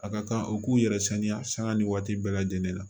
A ka kan u k'u yɛrɛ saniya sanga ni waati bɛɛ lajɛlen na